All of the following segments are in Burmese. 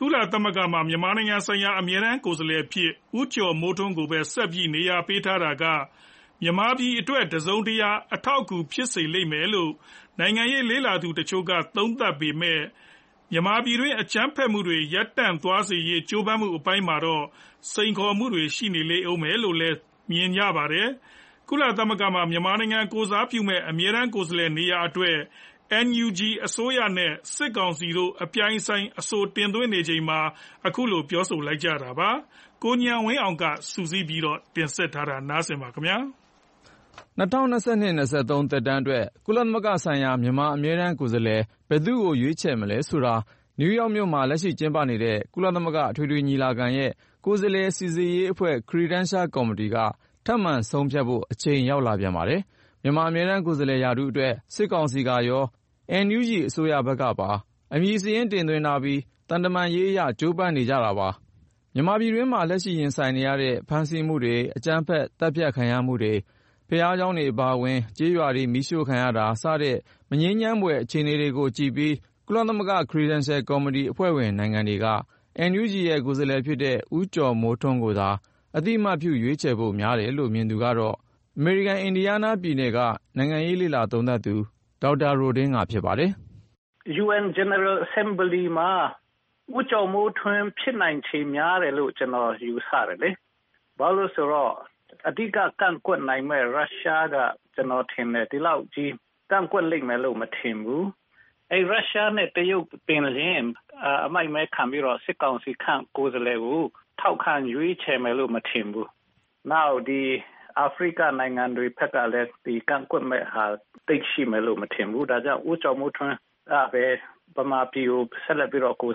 ကုလသမဂ္ဂမှာ မြန်မာနိုင်ငံဆိုင်ရာ အမြဲတမ်းကိုယ်စားလှယ်အဖြစ် ဦးကျော်မိုးထွန်းကိုပဲ ဆက်ပြီး နေရာပေးတာက မြန်မာပြည်အရေးအတွက် တစုံတရာ အထောက်အကူ ဖြစ်စေလိမ့်မယ်လို့ နိုင်ငံရေးလေ့လာသူတချို့က သုံးသပ်ပေမဲ့ မြန်မာပြည်တွင်း အကြမ်းဖက်မှုတွေ ရပ်တန့်သွားစေရေး ကြိုးပမ်းမှုအပိုင်းမှာတော့ စိန်ခေါ်မှုတွေ ရှိနေလိမ့်ဦးမယ်လို့ မြင်ကြပါတယ်။ ကုလသမဂ္ဂမှာ မြန်မာနိုင်ငံ ကိုယ်စားပြုမယ့် အမြဲတမ်းကိုယ်စားလှယ် နေရာအတွက် NUG အစိုးရနဲ့ စစ်ကောင်စီတို့ အပြိုင်အဆိုင် အဆို တင်သွင်းနေချိန်မှာ ခုလို ပြောဆိုလိုက်ကြတာပါ။ ကိုဉာဏ်ဝင်းအောင်က စုစည်းတင်ပြထားပါတယ်။ ၂၀၂၂-၂၃ သက်တမ်းအတွက် ကုလသမဂ္ဂဆိုင်ရာ မြန်မာအမြဲတမ်းကိုယ်စားလှယ် ဘယ်သူ့ကို ရွေးချယ်ရမလဲဆိုတာ ၊ နယူးယောက်မြို့မှာ လက်ရှိကျင်းပနေတဲ့ ကုလသမဂ္ဂအထွေထွေညီလာခံရဲ့ ကိုယ်စားလှယ်စိစစ်ရေးအဖွဲ့ က ထပ်မံ ဆုံးဖြတ်ဖို့ အချိန် ရောက်လာပြန်ပါတယ်။ မြန်မာအမြဲတမ်းကိုယ်စားလှယ် ရာထူးအတွက် စစ်ကောင်စီကရော ၊ NUG အစိုးရဖက်ကပါ အမည်စာရင်း တင်သွင်းထားပြီး သံတမန်ရေးအရ ကြိုးပမ်းနေကြပါတယ်။ မြန်မာပြည်တွင်းမှာ လက်ရှိ ရင်ဆိုင်နေရတဲ့ ဖမ်းဆီးမှုတွေ၊ အကြမ်းဖက် သတ်ဖြတ် ခံရမှုတွေ၊ ဘာသာရေးကျောင်း အပါအဝင် ကျေးရွာတွေ မီးရှို့ခံရတာ၊ စတဲ့ မငြိမ်းချမ်းဖွယ် အခြေအနေတွေကိုကြည့်ပြီး ကုလသမဂ္ဂ Credential ကော်မတီအဖွဲ့ဝင်နိုင်ငံတွေက NUG ရဲ့ကိုယ်စားလှယ်ဖြစ်တဲ့ ဦးကျော်မိုးထွန်းကိုသာ အသိအမှတ်ပြု ရွေးချယ်ဖို့ များတယ်လို့ မြင်သူကတော့ အမေရိကန်အလယ်ပိုင်း အင်ဒီယားနားပြည်နယ်က နိုင်ငံရေးသုံးသပ်သူ ဒေါက်တာ ရိုဒင်းငါ ဖြစ်ပါတယ်။ " ကုလသမဂ္ဂ အထွေထွေညီလာခံ ဆုံးဖြတ်တဲ့အခါ ဦးကျော်မိုးထွန်း ဖြစ်နိုင်ခြေ များတယ်လို့ ကျနော်ယူဆပါတယ်။ ဘာလို့လဲ ဆိုတော့ အဓိက ကန့်ကွက်နိုင်မယ့် ရုရှားက ဒီလောက်ကြီး ကန့်ကွက်လိမ့်မယ်လို့ မထင်ဘူး။ ရုရှားနဲ့ တရုတ်သည်ပင်လျှင် အမိုက်မဲခံပြီး စစ်ကောင်စီခန့် ကိုယ်စားလှယ်ကို ထောက်ခံ ရွေးချယ်မယ်လို့ မထင်ဘူး။ နောက်ပြီး အာဖရိကနိုင်ငံတွေ ဖက်ကလည်း ကန့်ကွက်မယ့်ဟာ သိပ်ရှိမယ်လို့ မထင်ဘူး။ ဒါကြောင့် ဦးကျော်မိုးထွန်းကပဲ မြန်မာပြည်အတွက် ဆက်လက်ပြီးတော့ ကုလသမဂ္ဂမှာ ကိုယ်စားပြုသွား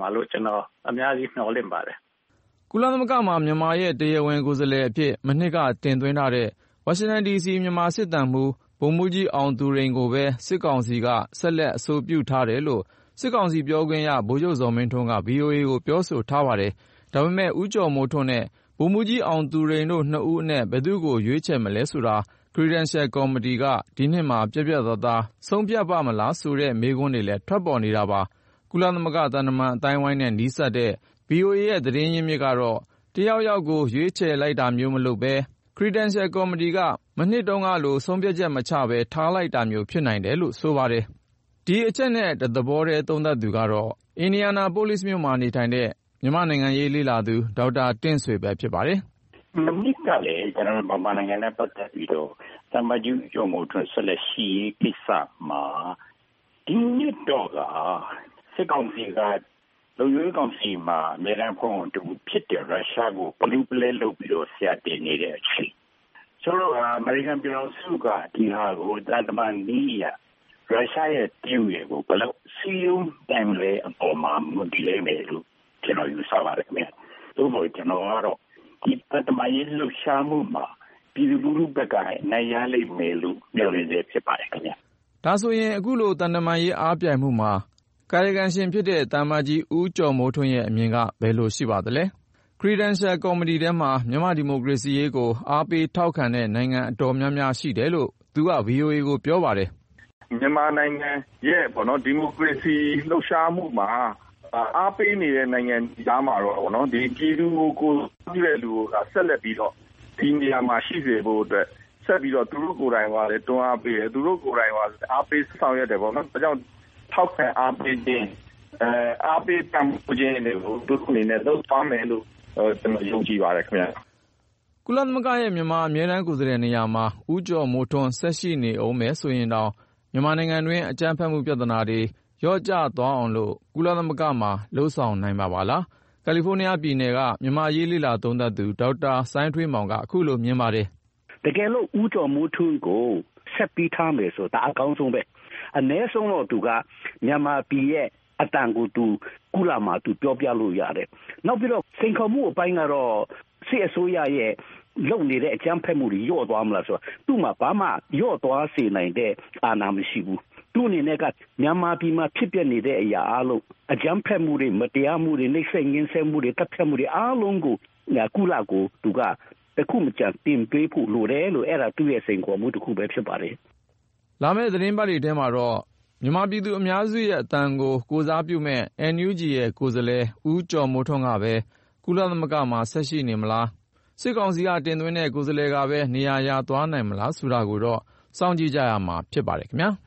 မယ်လို့ ကျနော် အများကြီး မျှော်လင့်ပါတယ်။ " ကုလသမဂ္ဂမှာ မြန်မာရဲ့ တရားဝင်ကိုယ်စားလှယ်အဖြစ် မနှစ်က တင်သွင်းထားတဲ့ ဝါရှင်တန်ဒီစီ မြန်မာစစ်သံမှူး ဗိုလ်မှူးကြီး အောင်သူရိန်ကိုပဲ စစ်ကောင်စီက ဆက်လက် အဆိုပြုထားတယ်လို့ စစ်ကောင်စီပြောခွင့်ရသူ ဗိုလ်ချုပ်ဇော်မင်းထွန်းက ဗွီအိုအေကို ပြောဆိုထားပါတယ်။ ဒါပေမဲ့ ဦးကျော်မိုးထွန်းနဲ့ ဗိုလ်မှူးကြီး အောင်သူရိန်တို့ နှစ်ဦးအနက် ဘယ်သူ့ကို ရွေးချယ်မလဲဆိုတာ Credential ကော်မတီက ဒီနှစ်မှာ ပြတ်ပြတ်သားသား ဆုံးဖြတ်ပါ့မလားဆိုတဲ့ မေးခွန်းတွေလည်း ထွက်ပေါ်နေတာပါ။ ကုလသမဂ္ဂ သံတမန်အသိုင်းအဝိုင်းနဲ့ နီးစပ်တဲ့ ဗွီအိုအေရဲ့သတင်းရင်းမြစ်ကတော့ တယောက်ယောက်ကို ရွေးချယ်လိုက်တာမျိုး မလုပ်ပဲ ၊ Credential ကော်မတီက မနှစ်တုန်းကလို ဆုံးဖြတ်ချက်မချပဲ ထားလိုက်တာမျိုး ဖြစ်နိုင်တယ်လို့ ဆိုပါတယ်။ ဒီအချက်နဲ့ တသဘောထဲ သုံးသပ်သူကတော့ အင်ဒီယာနာ ပိုလိဇ်မြို့မှာနေထိုင်တဲ့ မြန်မာ့နိုင်ငံရေးလေ့လာသူ ဒေါက်တာ တင်ဆွေပဲ ဖြစ်ပါတယ်။ " မနှစ်ကလည်း ကျနော်တို့ မြန်မာနိုင်ငံနဲ့ ပတ်သက်ပြီးတော့ သံအမတ်ကြီး ဦးကျော်မိုးထွန်း ဆက်လက်ရှိရေးကိစ္စမှာ တရုတ်နဲ့ အမေရိကန်ကြား ညှိနှိုင်းနိုင်ခဲ့တယ်လို့ မြင်ပါတယ်။ ဒီနှစ်တော့ကာ လုံခြုံရေးကောင်စီမှာ အမြဲတမ်းအဖွဲ့ဝင်ဖြစ်တဲ့ ရုရှားနဲ့ စစ်ကောင်စီက ပလူးပလဲလုပ်ပြီးတော့ ဆရာတင်နေတဲ့အချိန်ဖြစ်နေတော့ ၊ ဒီဟာကို အမေရိကန်ပြည်ထောင်စုက သံတမန်နည်းအရ ရုရှားရယ် ၊ တရုတ်ရယ်ကို ဘယ်လောက် စည်းရုံးနိုင်မလဲ ဆိုတဲ့အပေါ်မှာ မူတည်လိမ့်မယ်လို့ ကျနော် ယူဆပါတယ် ခင်ဗျ။ သို့သော် ကျနော်ကတော့ ဒီ သံတမန်ရေး လှုပ်ရှားမှုမှာ ပြည်သူလူထုဖက်က အနိုင်ရလိမ့်မယ်လို့ မျှော်လင့်ဆဲဖြစ်ပါတယ်။ " ဒါဆိုရင် ခုလို သံတမန်ရေး အားပြိုင်မှုမှာ ကာယကံရှင်ဖြစ်တဲ့ သံအမတ်ကြီး ဦးကျော်မိုးထွန်းရဲ့ အမြင်က ဘယ်လိုရှိပါသလဲ။ Credential ကော်မတီထဲမှာ မြန်မာ့ဒီမိုကရေစီရေးကို အားပေးထောက်ခံတဲ့နိုင်ငံ အတော်များများရှိတယ်လို့ သူက VOA ကို ပြောပါတယ်။ " မြန်မာနိုင်ငံရဲ့ ဒီမိုကရေစီလှုပ်ရှားမှုမှာ အားပေးနေတဲ့ နိုင်ငံတွေ ကြားမှာတော့ပေါ့နော် ၊ ပြည်သူတွေကို ကိုယ်စားပြုတဲ့ လူကိုသာ ဆက်လက်ပြီးတော့ ဒီနေရာမှာ ရှိစေဖို့အတွက် ဆက်ပြီးတော့ သူတို့ကိုယ်တိုင်ကိုက တွန်းအားပေးတယ်၊ သူတို့ကိုယ်တိုင်က အားပေး ဆောင်ရွက်တယ်ပေါ့နော်။ ဒါကြောင့် ထောက်ခံအားပေးခြင်း အားပေးပံ့ပိုးခြင်းတွေကို သူတို့အနေနဲ့ လုပ်သွားမယ်လို့ ကျနော် ယုံကြည်ပါတယ် ခင်ဗျ။ " ကုလသမဂ္ဂရဲ့ မြန်မာအမြဲတမ်းကိုယ်စားလှယ် နေရာမှာ ဦးကျော်မိုးထွန်း ဆက်ရှိနေဦးမယ် ဆိုရင်တောင် မြန်မာနိုင်ငံတွင်း အကြမ်းဖက်မှု ပြသနာတွေ လျော့ကျသွားအောင်လို့ ကုလသမဂ္ဂမှာ လုပ်ဆောင်နိုင်မှာပါလား။ ကယ်လီဖိုးနီးယားပြည်နယ်က မြန်မာ့အရေး လေ့လာသုံးသပ်သူ ဒေါက်တာ စိုင်းထွေးမောင်က ခုလိုမြင်ပါတယ်။ " တကယ်လို့ ဦးကျော်မိုးထွန်းကို ဆက်ပြီးထားမယ်ဆိုရင် ဒါ အကောင်းဆုံးပဲ။ အနည်းဆုံးတော့သူက မြန်မာပြည်သူရဲ့အသံကို ကုလသမဂ္ဂမှာ သူပြောပြလို့ ရတယ်။ နောက်ပြီး စိန်ခေါ်မှုအပိုင်းကတော့ စစ်အစိုးရက လုပ်နေတဲ့ အကြမ်းဖက်မှုတွေ လျော့သွားမလား ဆိုတဲ့အပိုင်းမှာကျတော့ - အဲဒီလို လျော့သွားစေနိုင်တဲ့ အာဏာ သူ့မှာ မရှိဘူး။ သူ့အနေနဲ့က မြန်မာပြည်မှာ ဖြစ်ပျက်နေတဲ့ အရာအားလုံး - အကြမ်းဖက်မှုတွေ မတရားမှုတွေ နှိပ်စက်ညှဉ်းဆဲမှုတွေ သတ်ဖြတ်မှုတွေ.. အားလုံးကို ကုလသမဂ္ဂကို သူက တခုမကျန် တင်ပြပေးဖို့လိုတယ်။ အဲဒါ သူ့ရဲ့စိန်ခေါ်မှုပဲ ဖြစ်ပါတယ်။ " လာမယ့် သီတင်းပတ်တွေထဲမှာတော့ မြန်မာပြည်သူအများစုရဲ့အသံကို ကိုယ်စားပြုနိုင်မယ့် NUG ရဲ့ကိုယ်စားလှယ် ဦးကျော်မိုးထွန်းကပဲ ကုလသမဂ္ဂမှာ ဆက်ရှိနေမလား၊ စစ်ကောင်စီက တင်သွင်းတဲ့ ကိုယ်စားလှယ်ကပဲ နေရာ ရသွားနိုင်သလားဆိုတာကိုတော့ စောင့်ကြည့်ရမှာ ဖြစ်ပါတယ်ခင်ဗျား။